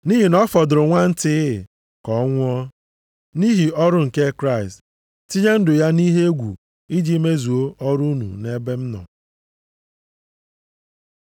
Nʼihi na ọ fọdụrụ nwantịị ka o nwụọ, nʼihi ọrụ nke Kraịst, tinye ndụ ya nʼihe egwu iji mezuo ọrụ unu nʼebe m nọ.